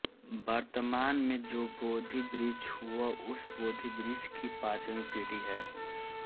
वर्तमान में जो बोधि वृक्ष वह उस बोधि वृक्ष की पांचवीं पीढी है